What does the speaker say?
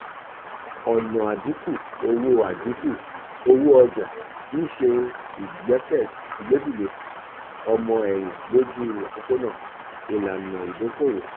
ọna adinku owo adinku owo oja um nse igbedide ọmọ-ẹhin loju opopona um ilana idoko-owo.